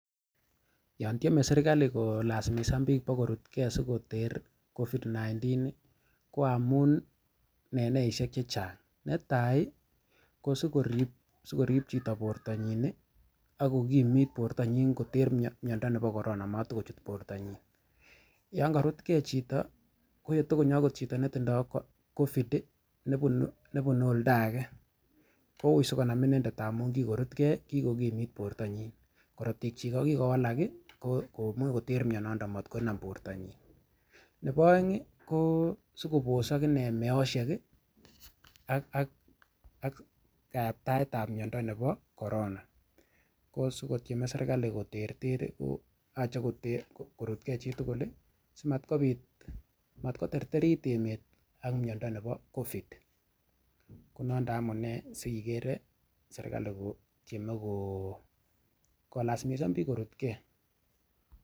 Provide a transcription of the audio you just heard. Yon tieme serkali kolasimisan bik kobakorut ge asi koter covid 19 ko amun en amuneisiek Che Chang netai ko si korib chito bortanyin ak kokimit bortanyin koter miando nebo korona komata kochut bortanyin yon korut chito ak konyo okot chito netindoi covid nebunu oldo age koui asi konam inendet amun kikorut ge kikomit bortanyin korotikyik ko ki kowalak komuch koter mianaton komat konam bortanyin nebo aeng ko asi kobosok meosiek ak kayaptaet ab miando nebo korona ko si kotyeme serkali koterter ko si korut ge chitugul si mat koterterit emet ak miando nebo covid ko noton amune si igere serkali kotieme kolasimisan bik korut ge